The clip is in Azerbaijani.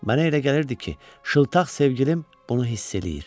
Mənə elə gəlirdi ki, şıltaq sevgilim bunu hiss eləyir.